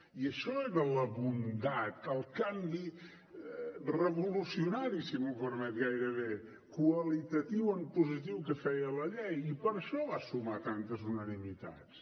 i això era la bondat el canvi revolucionari si m’ho permet gairebé qualitatiu en positiu que feia la llei i per això va sumar tantes unanimitats